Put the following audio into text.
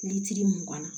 mugan na